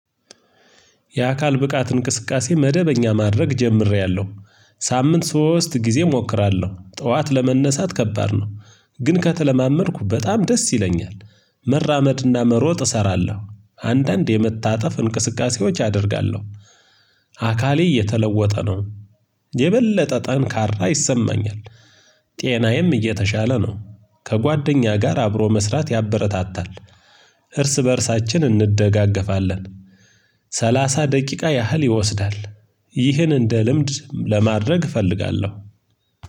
የአካል ብቃት እንቅስቃሴ መደበኛ ማድረግ ጀምሬያለሁ ሳምንት ሶስት ጊዜ እሞክራለሁ ጠዋት ለመነሳት ከባድ ነው ግን ከተለማመድኩ በጣም ደስ ይለኛል። መራመድና መሮጥ እሰራለሁ አንዳንድ የመታጠፍ እንቅስቃሴዎች አደርጋለሁ። አካሌ እየተለወጠ ነው የበለጠ ጠንካራ ይሰማኛል። ጤናዬም እየተሻለ ነው። ከጓደኛ ጋር አብሮ መስራት ያበረታታል። እርስ በእርሳችን እንደጋገፋለን። ሰላሳ ደቂቃ ያህል ይወስዳል። ይህን እንደ ልምድ ለማድረግ እፈልጋለሁ።